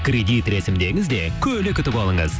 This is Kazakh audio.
кредит рәсімдеңіз де көлік ұтып алыңыз